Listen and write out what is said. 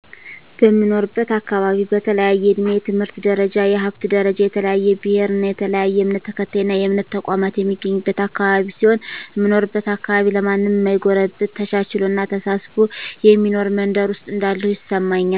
በምኖርበት አካባቢ በተለያየ እድሜ፣ የትምህርት ደረጃ፣ የሀብት ደረጃ፣ የተለያየ ብሔር እና የተለያየ እምነት ተከታይና የእምነት ተቋማት የሚገኝበት አካባቢ ሲሆን፣ እምኖርበት አካባቢ ለማንም ማይጎረብጥ ተቻችሎና ተሳስቦ የሚኖር መንደር ውስጥ እንዳለሁ ይሰማኛል።